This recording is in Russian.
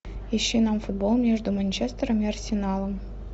ищи нам футбол между манчестером и арсеналом